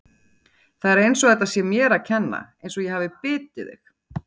Það er eins og þetta sé mér að kenna, eins og ég hafi bitið þig!